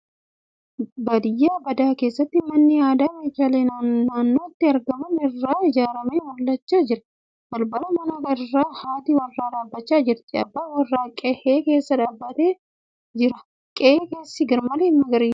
Baadiyyaa badaa keessatti manni aadaa meeshaalee naannootti argaman irraa ijaarame mul'achaa jira. Balbala manaa irra haati warraa dhaabbachaa jirti. Abbaan warraa qe'ee keessa deemaa jira. Qe'ee keessi garmalee magariisa .